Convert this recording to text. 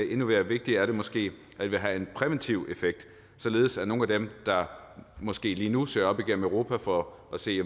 endnu mere vigtigt er det måske at det vil have en præventiv effekt således at nogle af dem der måske lige nu søger op igennem europa for at se